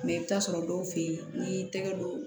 i bɛ t'a sɔrɔ dɔw fɛ ye n'i y'i tɛgɛ don